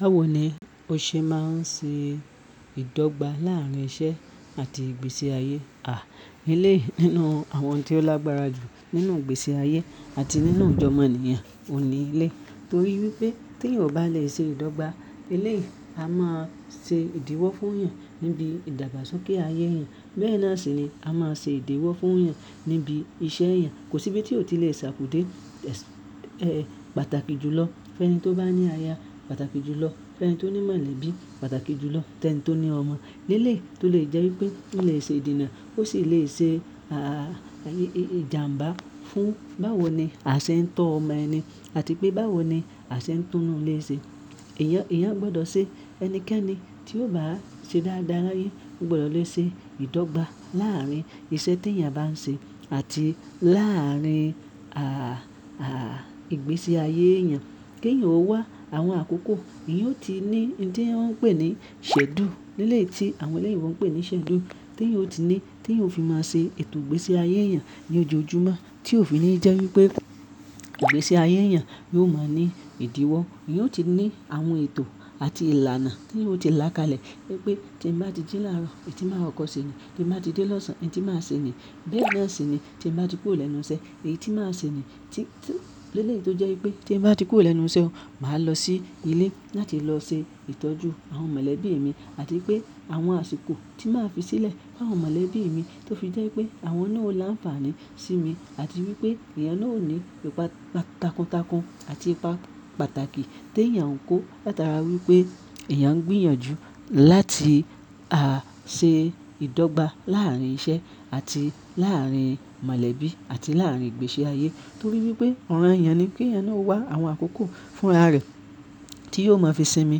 Báwo ni o ṣe máa ń ṣe ìdọ́gba láàárín iṣẹ́ àti ìgbésí ayé? À! Eleyi nínú àwọn tí ó lágbára jù nínú ìgbésí ayé àti nínú ìjọ omọ'nìyàn, oun ní eleyi. Torí wípé tí eeyan o bá lè ṣe ìdọ́gba, eléyi a máa ṣe ìdíwọ́ fún'yan níbi ìdàgbàsókè ayé èèyàn. Bẹ́ẹ̀ náà sì ni a máa ṣe ìdíwọ́ fún'yan níbi iṣẹ́ èèyàn. Kò síbi tí o ti lè ṣàkudé, ẹ́, pàtàkì jùlọ fẹ́ni tó bá ní aya, pàtàkì jùlọ fẹ́ni tó ní mọ̀lẹ́bí, pàtàkì jùlọ fẹ́ni tó ní ọmọ. Eléyi tó lè jẹ́ wípé ó lè ṣe ìdènà ó sì lè ṣe, à, ìjàmbá fún báwo ni a ṣe ń tọ́ ọmọ ẹni àti pé báwo ni a ṣe ń tún'nú ilé ṣe. Eeyan, eeyan gbọdọ̀ ṣe ẹnikẹ́ni tí yóò bá ṣe dáradára l'aye, ó gbọdọ̀ lè ṣe ìdọ́gba láàárín iṣẹ́ tí èèyàn bá ń ṣe àti láàárín, à, à, ìgbésí ayé èèyàn. K'èèyàn ó wá àwọn àkókò, èèyàn ó ti ní ohun tí wọ́n ń pè ní ṣchedule, leleyi tí àwọn ẹlẹ́yìnbo ń pè ní schedule, tí yóò ti ní, tí yóò fi máa ṣe ètò ìgbésí ayé èèyàn ní ojoojúmọ́ tí ó fi ní jẹ́ wípé ìgbésí ayé èèyàn yóò máa ní ìdíwọ́. Ìyẹn ó ti ní àwọn ètò àti ìlànà tí yóò ti làkalẹ̀ wípé tí n bá ti jí l'àárọ̀, èyí tí màá kọkọ ṣe ní. Tí n bá ti dé lọ́sàn án, èyí tí màá ṣe ní. Bẹ́ẹ̀ náà sì ni tí n bá ti kúrò lẹ́nu iṣẹ́, èyí tí màá ṣe ní. Tí, tí leléyi tó jẹ́ wípé tí èèyàn bá ti kúrò lẹ́nu iṣẹ́ o, màá lọ sí ilé láti lọ ṣe ìtọ́jú àwọn mọ̀lẹ́bí mi àti wipé àwọn àsìkò tí màá fi sílẹ̀ fún àwọn mọ̀lẹ́bí mi tó fi jẹ́ wipé àwọn náà ó láǹfààní sí mi àti wípé èèyàn náà ó ní ìpa takuntakun àti ìpà pàtàkì t'èèyàn kò gba latara wípé èèyàn ń gbìyànjú láti, à, ṣe ìdọ́gba láàárín iṣẹ́ àti láàárín mọ̀lẹ́bí àti láàárín ìgbésí ayé. Torí wípé ọ̀ràn'yàn ni k'éèyàn náà ó wá àwọn àkókò fún ara rẹ̀ tí yóò máa fi sinmi,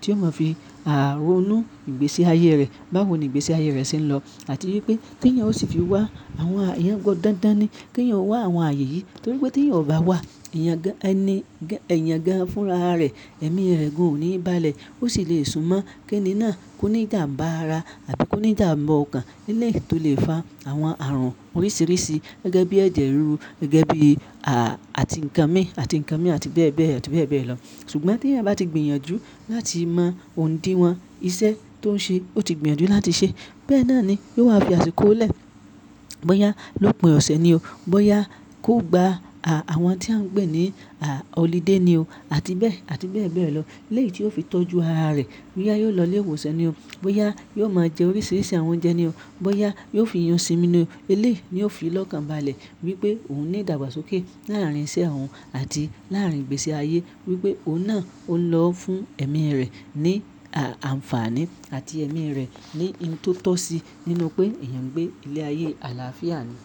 tí yóò máa fi, à, ronú ìgbésí ayé rẹ̀ báwo ni ìgbésí ayé rẹ̀ ṣe ń lọ àti wípé kí èèyàn ó sì fi wá, àwọn èèyàn gan dandan ni k'èèyàn wá àwọn ààyè yìí. Torí wípé tí èèyàn ò bá wá, èèyàn gan, ẹni, èèyàn gan fúnra rẹ̀, ẹ̀mí rẹ̀ gan ò ní ìbálẹ̀, ó sì le sunmọ́ kí ẹni náà kó ní ìjàǹbá ara àbi kó ní ìjàmbá ọkàn eléyi tó lè fa àwọn ààrùn oríṣiríṣi gẹ́gẹ́ bí ẹ̀jẹ̀ ríru, gẹ́gẹ́ bí, à, àti nǹkan míì àti nǹkan míì àti bẹ́ẹ̀ bẹ́ẹ̀ àti bẹ́ẹ̀ bẹ́ẹ̀ lọ. Ṣùgbọ́n tí èèyàn bá ti gbìyànjú láti mọ ondíwọ̀n iṣẹ́ tó ń ṣe, ó ti gbìyànjú láti ṣe, bẹ́ẹ̀ náà ni yóò wá fi àsìkò lẹ̀, bóyá lópin ọ̀sẹ̀ ni o, bóyá kó gba, à, àwọn tí à ń pè ní, à, holiday ni o àti bẹ́ẹ̀ àti bẹ́ẹ̀ bẹ́ẹ̀ lọ. Eléyi tí yóò fi tọ́jú ara rẹ̀, bóyá yóò lọ ilé ìwòsàn ni o, bóyá yóò máa jẹ oríṣiríṣi àwọn oúnjẹ ni o, bóyá yóò fi yún sinmi ni o. Eléyi ni yóò fi lọ́kàn b'àlẹ̀ wípé òun ní ìdàgbàsókè láàárín iṣẹ́ òhun àti láàárín ìgbésí ayé. Wípé òun náà ó ń lọ fún ẹ̀mí rẹ̀ ní, à, àǹfààní àti ẹ̀mí rẹ̀ ní ohun tó tọ́ sí nínú pé èèyàn ń gbé ilé ayé àlàáfíà ni.